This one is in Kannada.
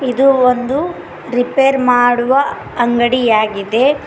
ಇದು ಒಂದು ರಿಪೇರ್ ಮಾಡುವ ಅಂಗಡಿಯಾಗಿದೆ.